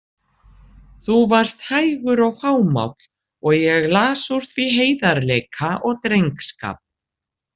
Þú varst hægur og fámáll og ég las úr því heiðarleika og drengskap.